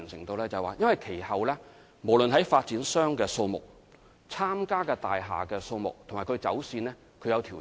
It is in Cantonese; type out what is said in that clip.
原因是其後無論在發展商的數目、參加的大廈數目及走線均有所調整。